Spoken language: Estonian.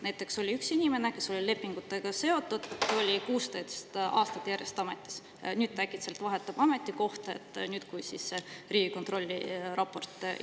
Näiteks oli üks inimene, kes oli lepingutega seotud, 16 aastat järjest ametis, nüüd äkitselt ta vahetab ametikohta – nüüd, kui ilmus Riigikontrolli raport.